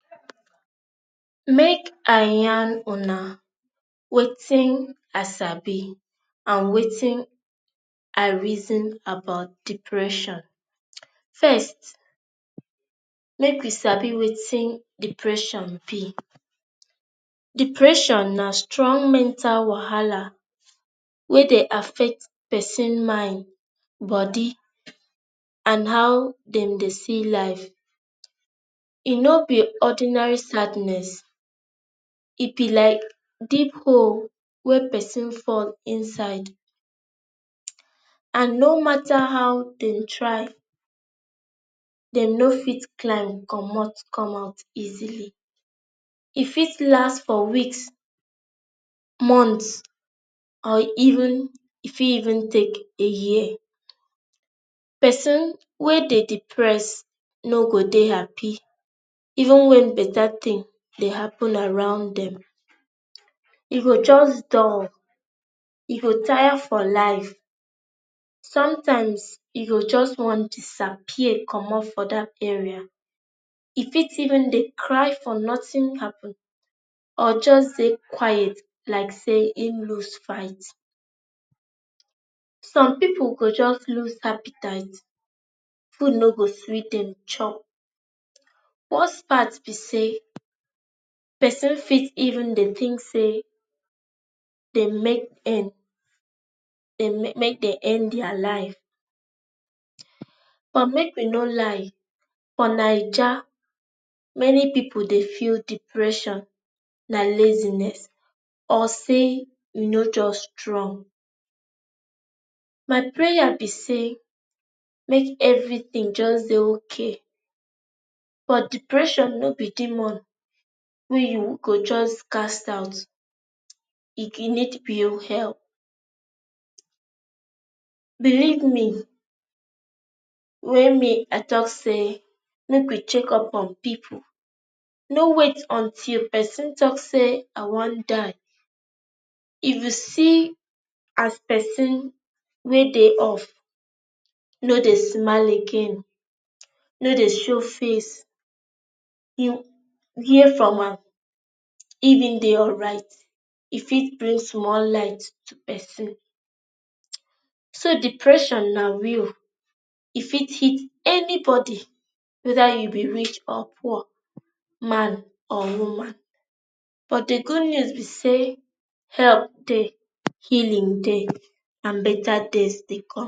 Make I yarn una wetin I sabi and wetin I reason about depression First, make we sabi wetin depression be. Depression na strong mental wahala wey dey affect person mind, body and how dem dey see life. E no be ordinary sadness. E be like deep hole wey person fall inside. And no matter how dem try, dem no fit climb comot come out easily. E fit last for weeks, months or even e fit even take a year. Person wey dey depressed no go dey happy even when better thing dey happen around dem. E go just dull. E go tire for life. Sometimes e go just want disappear comot for dat area. E fit even dey cry for nothing happen or just dey quiet like say him lose fait. Some people go just lose appetite. Food no go sweet dem chop. Worse part be say person fit even dey think say make end dem make end their life. But make we no lie, for Naija, many people dey feel depression na laziness or say you no just strong. My prayer be say make everything just dey okay. But depression no be demon wey you go just cast out. E need pure help. Believe me when me I talk say make we check up on people. No wait until person talk say I want die. If you see as person wey dey off, no dey smile again, no dey show face, hear from am. if e dey alright, e fit bring small light to person. So depression na real. E fit hit anybody, whether you be rich or poor, man or woman. But the good news be say help dey, healing dey and better days dey come.